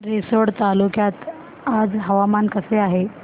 रिसोड तालुक्यात आज हवामान कसे आहे